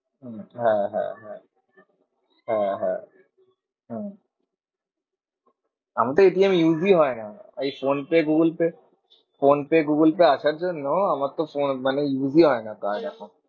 হম হ্যাঁ হ্যাঁ হ্যাঁ হ্যাঁ হ্যাঁ হম আমিতো use ই হয় না। ওই ফোনপে গুগলপে ফোনপে গুগলপে আসার জন্য আমার তো মানে use ই হয় না card আমার।